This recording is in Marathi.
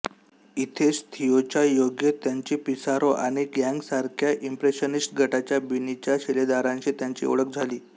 इथेच थिओच्या योगे त्याची पिसारो आणि गोगॅंसारख्या इंप्रेशनिस्ट गटाच्या बिनीच्या शिलेदारांशी त्याची ओळख झाली